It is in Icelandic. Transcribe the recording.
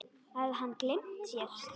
Hafði hann gleymt sér?